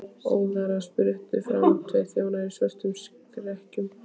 Óðara spruttu fram tveir þjónar í svörtum serkjum.